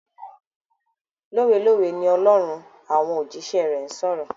Lówé lówé ni Olórun ń àwọn òjíṣẹ́ rẹ̀ sọ̀rọ̀.